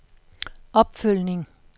opfølgning